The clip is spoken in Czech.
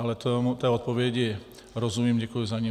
Ale té odpovědi rozumím, děkuji za ni.